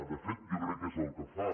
de fet jo crec que és el que fa